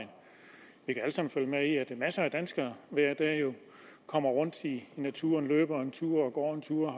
masser af danskere hver dag jo kommer rundt i naturen løber en tur og går en tur